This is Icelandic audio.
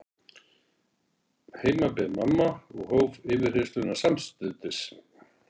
Heima beið mamma og hóf yfirheyrsluna samstundis.